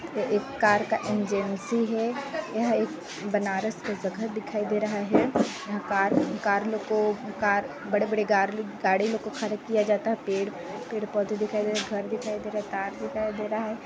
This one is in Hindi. यह एक कार का एंजेंसी है यह एक बनारस का जगह दिखाई दे रहा है कार कार कार लोग को गार्ल बड़े बड़े गाड़ी लोग को खड़े किया जाता है| पेड़ पेड़ पौधे दिखाई देरा है घर दिखाई देरा है कार दिखाई देरा है |